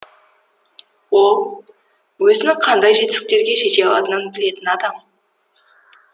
ол өзінің қандай жетістіктерге жете алатынын білетін адам